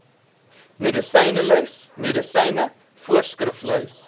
medisynelys medisyne voorskriflys